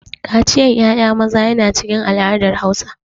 Kaciyan ƴaƴa maza yana cikin al'adar Hausa.